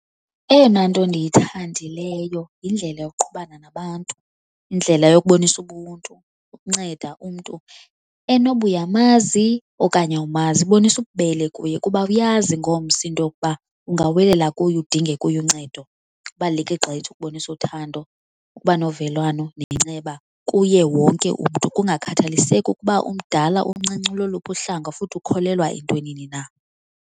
Eyona nto ndiyithandileyo yindlela yokuqhubana nabantu, indlela yokubonisa ubuntu, ukunceda umntu enoba uyamazi okanye awumazi bonisa ububele kuye kuba awuyazi ingomso into yokuba ungawelela kuye udinge kuye uncedo. Kubaluleke gqithi ukubonisa uthando, ukuba novelwano nenceba kuye wonke umntu kungakhathaliseki ukuba umdala, umncinci uloluphi uhlanga futhi ukholelwa entwenini na.